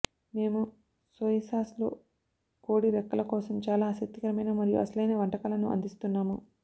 మేము soy sauce లో కోడి రెక్కల కోసం చాలా ఆసక్తికరమైన మరియు అసలైన వంటకాలను అందిస్తున్నాము